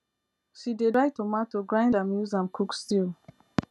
she dey buy tomato grind am use am cook stew